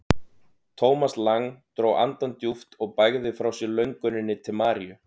Thomas Lang dró andann djúpt og bægði frá sér lönguninni til Maríu.